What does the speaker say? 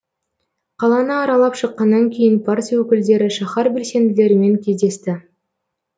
қаланы аралап шыққаннан кейін партия өкілдері шаһар белсенділерімен кездесті